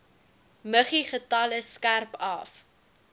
muggiegetalle skerp af